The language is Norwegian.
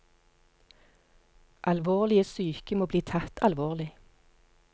Alvorlige syke må bli tatt alvorlig.